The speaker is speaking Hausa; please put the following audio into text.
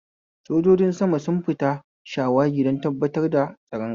Sojojin sama sun fita shawagi don tabbatar da tsaron ƙasa.